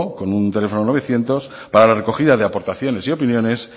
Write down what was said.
con un teléfono novecientos para la recogida de aportaciones y opiniones